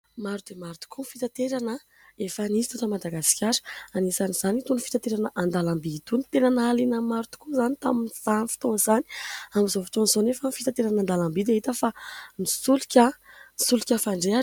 Maro dia maro tokoa ny fitaterana efa nisy teto Madagasikara anisan'izany itony fitaterana an-dalamby itony ; tena nahaliana ny maro tokoa izany tamin'izany fotoana izany. Amin'izao fotoan'izao anefa ny fitaterana an-dalamby dia hita fa ny solika. Ny solika fandrehitra.